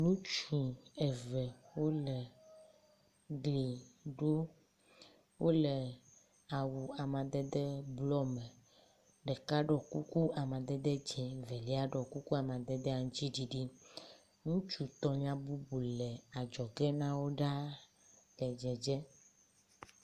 Ŋutsu eve woo le gli ɖom. Wo le awu amadede blɔ me. Ɖeka ɖo kuku amadede dzi evelia ɖɔ kuku amadede aŋtsiɖiɖi. Ŋutsu tɔlia bubu le adzɔge na wo ɖa.